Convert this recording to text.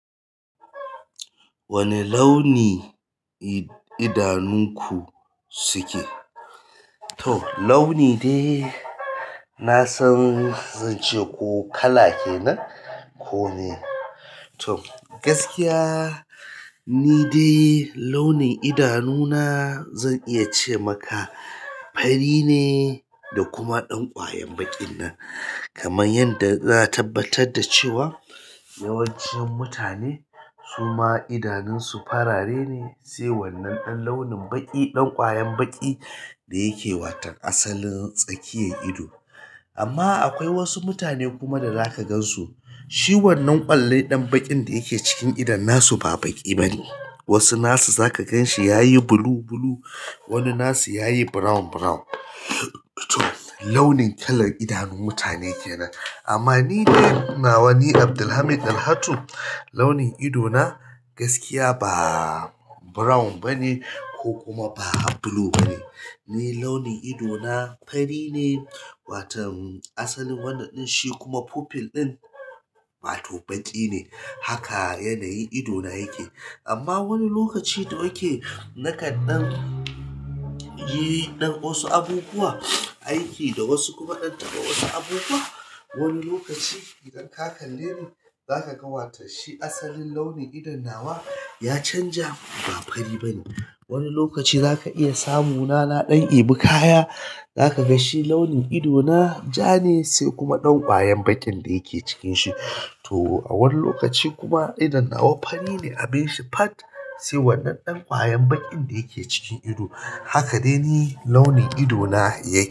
Wane launi idanunku suke? Toh launin dai na san zan ce ko kala kenan ko me. Toh gaskiya ni dai launin idanu na zan iya ce maka fari ne da kuma ɗan kwayan baƙi nan. Kaman yanda na tabbatar da cewa yawancin mutane suma idanun su farare ne sai wannan ɗan launin baƙi, ɗan kwayan baƙi da yake watan asalin tsakiyar ido. Amma akwai wasu mutane kuma da zaka gan su shi wannan ƙwallen ɗan baƙin da yake cikin idon nasu ba baƙi bane. Wasu nasu za ka gan shi yayi blue blue wani nasu yayi brown brown. Toh launin kalan idanun mutane kenan. Amma ni dai nawa ni Abdulhameed Dalhatu launin ido na gaskiya ba brown bane ko kuma ba blue bane. Ni launin ido na fari ne watan asalin wannan ɗin shi kuma pupil ɗin wato ɓaƙi ne. Haka yanayin ido na yake. Amma wani lokaci da yake naka ɗan yi ɗan wasu abubuwa, aiki da wasu kuma ɗan tagomashi abubuwa. Wani lokaci idan ka kalle ni zaka ga watan shi asalin launin idon nawa ya canja ba fari bane. Wani lokaci zaka iya samu na na ɗan ebu kaya. Za ka ga shi launin ido na ja ne sai kuma ɗan kwayan baƙin da yake cikin shi. Toh a wani lokaci kuma idon nawa fari ne abin shi pat sai wannan ɗan kwayan baƙin da yake cikin ido. Haka dai ne launin ido na yake.